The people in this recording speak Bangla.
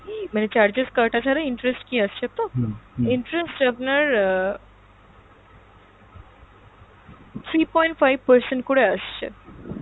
মানে charges কাটা ছাড়া interest কি আছে তো? interest আপনার আহ, three point five percent করে আসছে